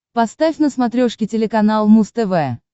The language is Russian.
поставь на смотрешке телеканал муз тв